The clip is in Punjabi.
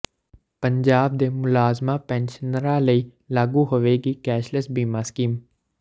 ਪੰਜਾਬ ਦੇ ਮੁਲਾਜ਼ਮਾ ਪੈਨਸ਼ਨਰਾਂ ਲਈ ਲਾਗੂ ਹੋਵੇਗੀ ਕੈਸ਼੍ਲੈਸ ਬੀਮਾ ਸਕੀਮ